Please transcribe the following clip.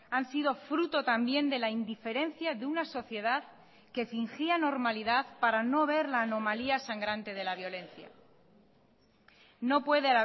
han sido fruto también de la indiferencia de una sociedad que fingía normalidad para no ver la anomalía sangrante de la violencia no puede